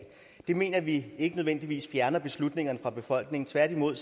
det mener vi ikke nødvendigvis fjerner beslutningerne fra befolkningen tværtimod